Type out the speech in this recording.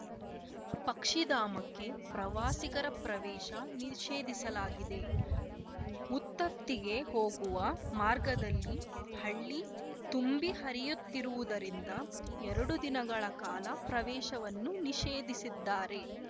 ಪಕ್ಷಿಧಾಮಕ್ಕೆ ಪ್ರವಾಸಿಗರ ಪ್ರವೇಶ ನಿಷೇಧಿಸಲಾಗಿದೆ ಮುತ್ತತ್ತಿಗೆ ಹೋಗುವ ಮಾರ್ಗದಲ್ಲಿ ಹಳ್ಳಿ ತುಂಬಿ ಹರಿಯುತ್ತಿರುವುದರಿಂದ ಎರಡು ದಿನಗಳ ಕಾಲ ಪ್ರವೇಶವನ್ನು ನಿಷೇಧಿಸಿದ್ದಾರೆ